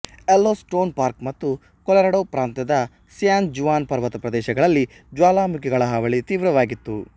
Yellowstone park ಮತ್ತು Colorado ಪ್ರಾಂತ್ಯದ San Juan ಪರ್ವತ ಪ್ರದೇಶಗಳಲ್ಲಿ ಜ್ವಾಲಾಮುಖಿಗಳ ಹಾವಳಿ ತೀವ್ರವಾಗಿತ್ತು